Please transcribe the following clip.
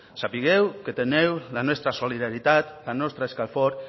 sapigueu que teniu la nostra solidaritat la nostra escalfor